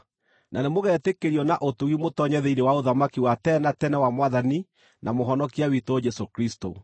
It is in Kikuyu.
na nĩmũgetĩkĩrio na ũtugi mũtoonye thĩinĩ wa ũthamaki wa tene na tene wa Mwathani na Mũhonokia witũ Jesũ Kristũ.